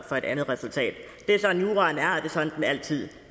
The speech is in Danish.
for et andet resultat det er sådan juraen er og sådan den altid